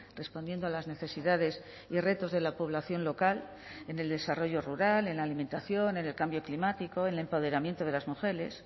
respondiendo a las necesidades y retos de la población local en el desarrollo rural en la alimentación en el cambio climático el empoderamiento de las mujeres